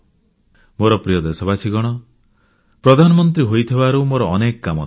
ମୋର ପ୍ରିୟ ଦେଶବାସୀଗଣ ପ୍ରଧାନମନ୍ତ୍ରୀ ହୋଇଥିବାରୁ ମୋର ଅନେକ କାମ ଥାଏ